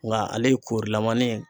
Nka ale korilaman ye